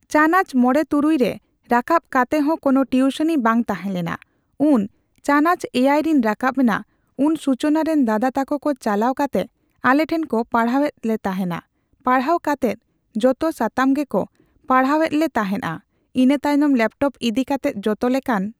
ᱪᱟᱱᱟᱪ ᱢᱚᱲᱮ ᱛᱩᱨᱩᱭ ᱨᱮ ᱨᱟᱠᱟᱵ ᱠᱟᱛᱮᱫ ᱦᱚᱸ ᱠᱚᱱᱚ ᱴᱤᱣᱥᱩᱱᱤ ᱵᱟᱝ ᱛᱟᱦᱮᱸᱞᱮᱱᱟ ᱩᱱ ᱪᱟᱱᱟᱪ ᱮᱭᱟᱭ ᱨᱮᱧ ᱨᱟᱠᱟᱵ ᱱᱟ ᱩᱱ ᱥᱩᱪᱚᱱᱟ ᱨᱮᱱ ᱫᱟᱫᱟ ᱛᱟᱠᱚᱠᱚ ᱪᱟᱞᱟᱣ ᱠᱟᱛᱮᱜ ᱟᱞᱮᱴᱷᱮᱱ ᱠᱩ ᱯᱟᱲᱦᱟᱣᱮᱫ ᱞᱮᱛᱟᱦᱮᱸᱱᱟ ᱯᱟᱲᱦᱟᱣ ᱠᱟᱛᱮᱫ ᱡᱚᱛᱚ ᱥᱟᱛᱟᱢ ᱜᱮᱠᱩ ᱯᱟᱲᱦᱟᱣᱮᱫᱞᱮ ᱛᱟᱦᱮᱸᱫ ᱟ ᱤᱱᱟᱹᱛᱟᱭᱚᱢ ᱞᱮᱯᱴᱚᱯ ᱤᱫᱤ ᱠᱟᱛᱮᱫ ᱡᱚᱛᱚ ᱞᱮᱠᱟᱱ ᱾